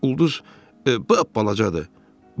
Ulduz balacadır.